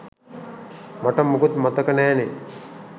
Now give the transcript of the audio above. මට මුකුත් මතක නෑනෙ